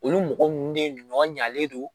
Olu mɔgɔ ninnu de ɲɔ ɲalen don